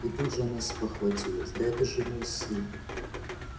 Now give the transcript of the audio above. и тут же она спохватилась да это же мой сын